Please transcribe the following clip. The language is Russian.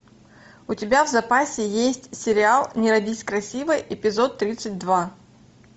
у тебя в запасе есть сериал не родись красивой эпизод тридцать два